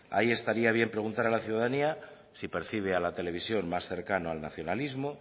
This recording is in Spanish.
ahí estaría bien preguntar a la ciudadanía si percibe a la televisión más cercana al nacionalismo